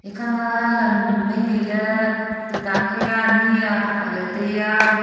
ikha lam mei mei ley tuita nikhe ani aphak lah taiya.